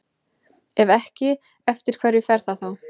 Ef ekki, eftir hverju fer það þá?